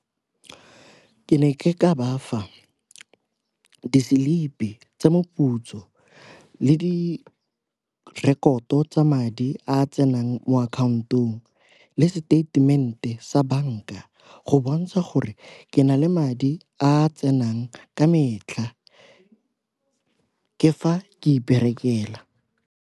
Ke ne ke ka bafa di-slip-i tsa moputso le direkoto tsa madi a a tsenang mo akhaontong ha le seteitemente sa banka go bontsha gore ke na le madi a tsenang ka metlha, ke fa ke iperekela.